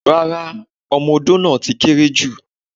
Rárá, ọmọ-odo náà ti kéré jù.